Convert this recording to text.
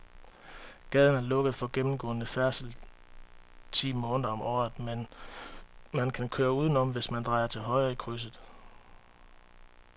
Gaden er lukket for gennemgående færdsel ti måneder om året, men man kan køre udenom, hvis man drejer til højre i krydset.